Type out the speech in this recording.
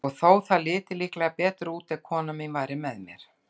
Og þó það liti líklega betur út, ef kona mín væri með mér.